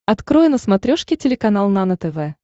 открой на смотрешке телеканал нано тв